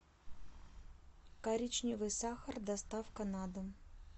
коричневый сахар доставка на дом